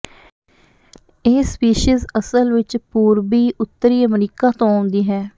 ਇਹ ਸਪੀਸੀਜ਼ ਅਸਲ ਵਿੱਚ ਪੂਰਬੀ ਉੱਤਰੀ ਅਮਰੀਕਾ ਤੋਂ ਆਉਂਦੀ ਹੈ